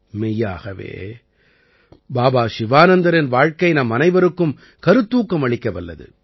மெய்யாகவே பாபா சிவானந்தரின் வாழ்க்கை நம்மனைவருக்கும் கருத்தூக்கம் அளிக்கவல்லது